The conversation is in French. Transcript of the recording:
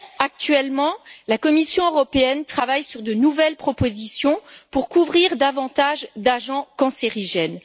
Actuellement, la Commission européenne travaille sur de nouvelles propositions pour couvrir davantage d'agents cancérigènes.